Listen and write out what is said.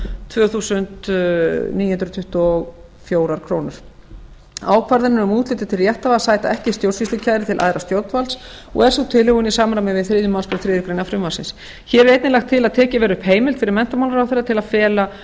tvö þúsund níu hundruð tuttugu og fjórar krónur ákvarðanir um úthlutun til rétthafa sæta ekki stjórnsýslukæru til æðra stjórnvalds og er sú tilhögun í samræmi við þriðju málsgrein þriðju greinar frumvarpsins hér er einnig lagt til að tekin verði upp heimild fyrir menntamálaráðherra til að fela